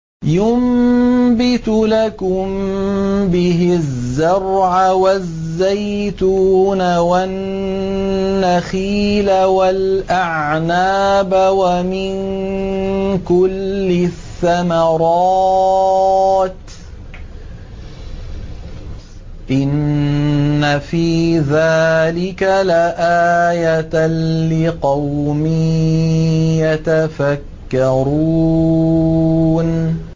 يُنبِتُ لَكُم بِهِ الزَّرْعَ وَالزَّيْتُونَ وَالنَّخِيلَ وَالْأَعْنَابَ وَمِن كُلِّ الثَّمَرَاتِ ۗ إِنَّ فِي ذَٰلِكَ لَآيَةً لِّقَوْمٍ يَتَفَكَّرُونَ